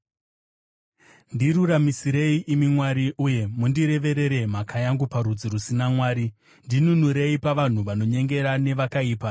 Ndiruramisirei, imi Mwari, uye mundireverere mhaka yangu parudzi rusina Mwari; ndinunurei pavanhu vanonyengera nevakaipa.